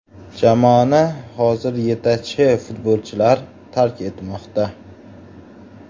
Jamoani hozir yetakchi futbolchilar tark etmoqda.